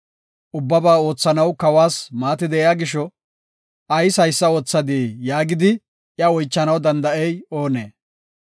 Ubbabaa oothanaw kawas maati de7iya gisho, “Ayis haysa oothadii?” yaagidi iya oychanaw danda7ey oonee?